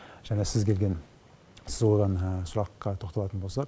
және сіз келген сіз қойған сұраққа тоқталатын болсақ